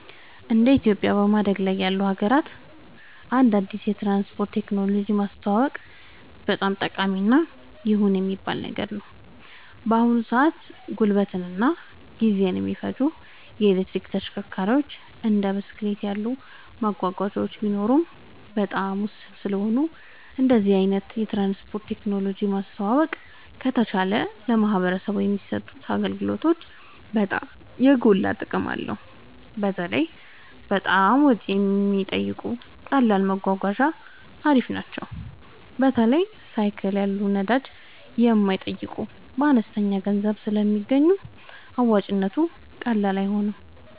እንደ ኢትዮጵያ በማደግ ላይ ላሉ ሀገራት አንድ አዲስ የትራንስፖርት ቴክኖሎጂ ማስተዋወቅ በጣም ጠቃሚ እና ይሁን የሚባል ነገር ነው። በአሁን ሰአት ጉልበትን እና ጊዜን የማይፈጁ የኤሌክትሪክ ተሽከርካሪዎች እንደ ብስክሌት ያሉ መጓጓዣዎች ቢኖሩም በጣም ውስን ስለሆኑ እንደዚህ አይነት የትራንስፖርት ቴክኖሎጂ ማስተዋወቅ ከተቻለ ለማህበረሰቡ የሚሰጡት አገልግሎት በጣም የጎላ ጥቅም አለው። በተለይ በጣም ወጪ የማይጠይቁ ቀላል መጓጓዣ አሪፍ ናቸው። በተለይ ሳይክል ያሉ ነዳጅ የማይጠይቁ በአነስተኛ ገንዘብ ስለሚገኙ አዋጭነቱ ቀላል አይደለም